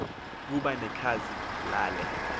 kuba nekhazi lale